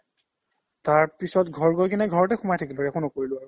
তাৰপিছত ঘৰ গৈ কিনে ঘৰতে সোমাই থাকিলো একো নকৰিলো আৰু